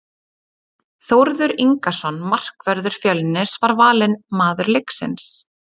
Þórður Ingason, markvörður Fjölnis, var valinn maður leiksins.